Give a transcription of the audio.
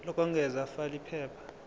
lokwengeza fal iphepha